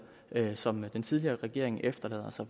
som den tidligere regering efterlader sig